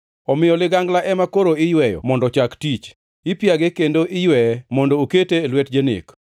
“ ‘Omiyo ligangla ema koro iyweyo mondo ochak tich, ipiage kendo iyweye mondo okete e lwet janek.